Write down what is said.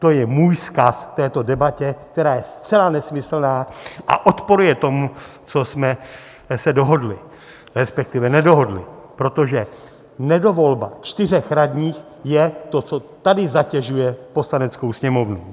To je můj vzkaz této debatě, která je zcela nesmyslná a odporuje tomu, co jsme se dohodli, respektive nedohodli, protože nedovolba čtyř radních je to, co tady zatěžuje Poslaneckou sněmovnu.